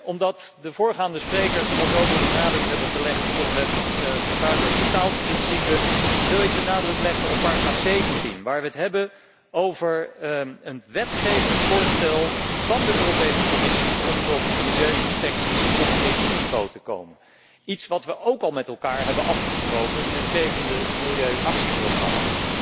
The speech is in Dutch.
Omdat de voorgaande sprekers al zo veel de nadruk hebben gelegd op het vervuiler betaalt principe wil ik de nadruk leggen op paragraaf 17 waarin we het hebben over een wetsvoorstel van de Europese Commissie om tot milieu inspecties op EU niveau te komen, iets wat we ook al met elkaar hebben afgesproken in het zevende milieuactieprogramma.